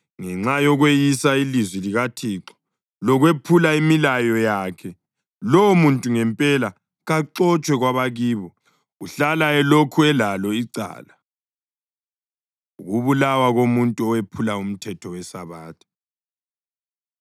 Ngenxa yokweyisa ilizwi likaThixo lokwephula imilayo yakhe, lowomuntu ngempela kaxotshwe kwabakibo; uhlala elokhu elalo icala.’ ” Ukubulawa Komuntu Owephula Umthetho WeSabatha